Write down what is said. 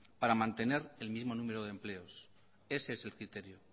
para mantener el mismo número de empleos ese es el criterio